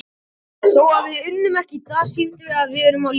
Þó við unnum ekki í dag, sýndum við að við erum á lífi.